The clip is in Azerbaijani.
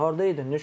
Harda idin?